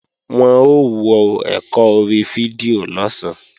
Wọn ó wọ ẹ̀kọ́ orí fídíò lọ̀sán